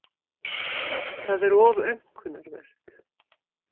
Það er of aumkunarvert.